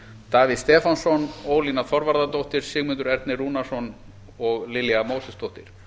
davíð stefánsson ólína þorvarðardóttir sigmundur ernir rúnarsson og lilja mósesdóttir